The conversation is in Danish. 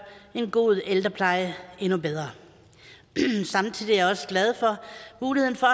en god ældrepleje endnu bedre samtidig er jeg også glad for muligheden for